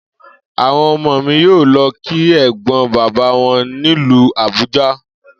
Àwo̩n o̩mo̩ mi yóò lo̩ kí è̩gbó̩n bàbá wo̩n nílùú Àbúja